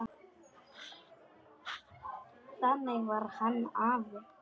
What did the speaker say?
Þannig var hann afi.